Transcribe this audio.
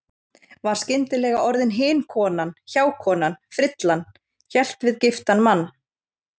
Var skyndilega orðin hin konan, hjákonan, frillan- hélt við giftan mann.